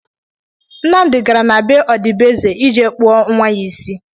Nnamdi gara na be ọdịbeeze ije kpụọ nnwa ya isi